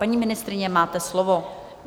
Paní ministryně, máte slovo.